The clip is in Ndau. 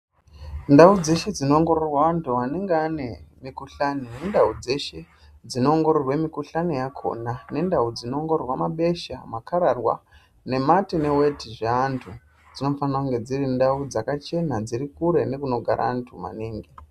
Ndau dzeshe dzino ongororwa antu anenge ane mi kuhlani ne ndau dzeshe dzino ongororwe mi kuhlani yakona nendau dzino ongororwa mabesha makararwa ne mate ne weti zve antu dzinofanira kunge dziri ndau dzaka chena dziri kure nekuno gara antu maningi.